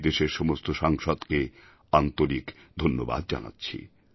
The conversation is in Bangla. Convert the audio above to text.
আমি দেশের সমস্ত সাংসদকে আন্তরিক ধন্যবাদ জানাচ্ছি